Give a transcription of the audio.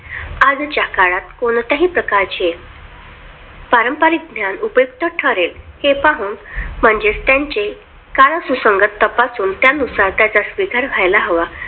आजच्या काळात कोणत्याही प्रकारचे पारंपरिक ज्ञान उपयुक्त ठरेल हे पाहून म्हणजेच त्यांचे काळ सुसंगत तपासून त्यानुसार त्याचा स्वीकार व्हायला हवा